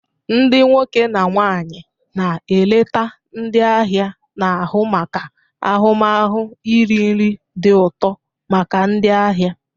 Ndị nwoke na nwanyi na eleta ndi ahia na ahu maka ahụmahụ iri nri dị ụtọ maka ndị ahịa.